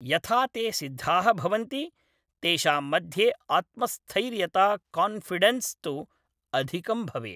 यथा ते सिद्धाः भवन्ति तेषां मध्ये आत्मस्थैर्यता कान्फि़डेंस् तु अधिकं भवेत्